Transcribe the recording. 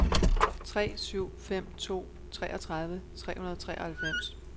tre syv fem to treogtredive tre hundrede og treoghalvfems